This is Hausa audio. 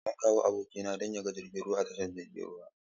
Zan kawo abokina don ya ga jiragen ruwa a tashar jiragen ruwa.